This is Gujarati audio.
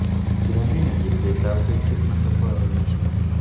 મુન્દ્રાની નજીક બે તાપ વિદ્યુત મથકો આવેલા છે